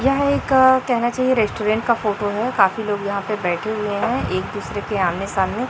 यह एक कहना चाहिए रेस्टोरेंट का फोटो है काफी लोग यहां पे बैठे हुए हैं एक दूसरे के आमने सामने--